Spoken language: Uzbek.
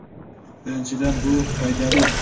Birinchidan, bu foydali.